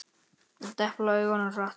Ég depla augunum hratt.